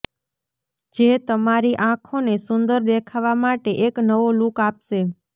જે તમારી આંખોને સુંદર દેખાવામાટે એક નવો લૂક આપશે